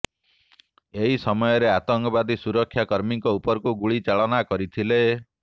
ଏହି ସମୟରେ ଆତଙ୍କବାଦୀ ସୁରକ୍ଷାକର୍ମୀଙ୍କ ଉପରକୁ ଗୁଳି ଚାଳନା କରିଥିଲେ